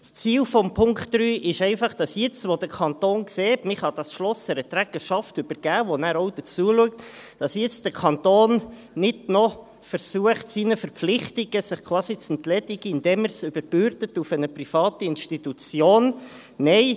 Das Ziel von Punkt 3 ist, dass der Kanton, jetzt, wo er sieht, dass man dieses Schloss einer Trägerschaft übergeben kann, die sich dann auch darum kümmert, nicht noch versucht, sich quasi seinen Verpflichtungen zu entledigen, indem er es einer privaten Institution überbürdet.